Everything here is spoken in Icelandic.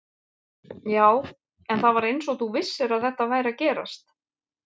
Já, en það var eins og þú vissir að þetta væri að gerast